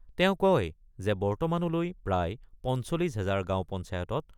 তেওঁ কয় যে বৰ্তমানলৈ প্ৰায় ৪৫ হাজাৰ গাঁও পঞ্চায়তত